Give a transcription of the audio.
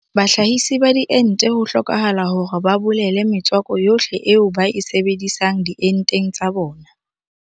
Bahlahise ba diente ho hlokahala hore ba bolele metswako yohle eo ba e sebedisang dienteng tsa bona.